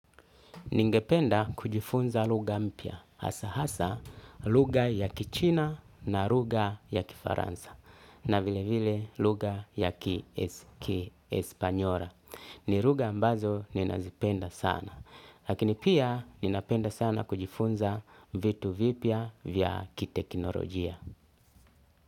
Ningependa kujifunza lugha mpya hasa hasa lugha ya kichina na lugha ya kifaransa na vile vile lugha ya kiespanyora. Ni lugha ambazo ninazipenda sana, lakini pia ninapenda sana kujifunza vitu vipya vya kitekinolojia.